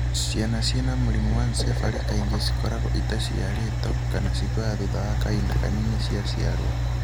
Ciana ciena mũrimũ wa ancephaly kaingĩ cikoragwo itaciaritwo kana cikuaga thutha wa kahinda kanini ciaciarwo.